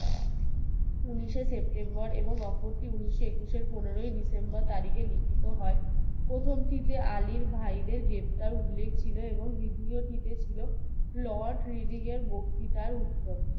উনিশে september এবং ওপরটি উনিশশো একুশের পনেরোই december তারিখে লিখিত হয় প্রথম টিতে আলীর ভাই দেড় গ্রেফতার উল্লেখ ছিল এবং দ্বিতীয়টি তে ছিল lord riding এর বক্তিতার উত্তর